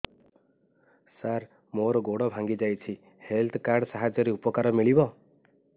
ସାର ମୋର ଗୋଡ଼ ଭାଙ୍ଗି ଯାଇଛି ହେଲ୍ଥ କାର୍ଡ ସାହାଯ୍ୟରେ ଉପକାର ମିଳିବ